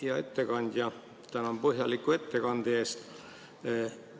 Hea ettekandja, tänan põhjaliku ettekande eest!